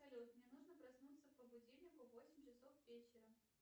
салют мне нужно проснуться по будильнику в восемь часов вечера